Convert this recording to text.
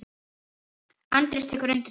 Andrés tekur undir það.